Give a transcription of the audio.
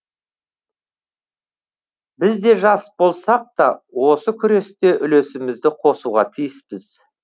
біз де жас болсақ та осы күресте үлесімізді қосуға тиіспіз